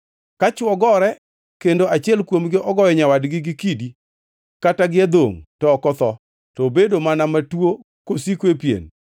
“Ka chwo gore kendo achiel kuomgi ogoyo nyawadgi gi kidi kata gi adhongʼ to ok otho, to obedo mana matuo kosiko e pien,